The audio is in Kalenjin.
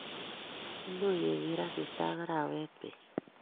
much kegeer asista ak arawet beet